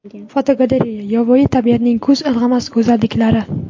Fotogalereya: Yovvoyi tabiatning ko‘z ilg‘amas go‘zalliklari.